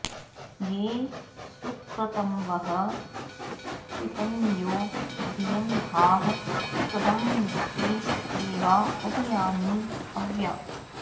ये सु॒क्रत॑वः॒ शुच॑यो धियं॒धाः स्वद॑न्ति दे॒वा उ॒भया॑नि ह॒व्या